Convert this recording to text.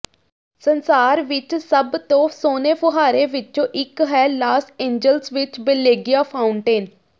ਸੰਸਾਰ ਵਿੱਚ ਸਭ ਤੋਂ ਸੋਹਣੇ ਫੁਹਾਰੇ ਵਿੱਚੋਂ ਇੱਕ ਹੈ ਲਾਸ ਏਂਜਲਸ ਵਿੱਚ ਬੇਲੀਗਿਆ ਫਾਊਂਟੇਨ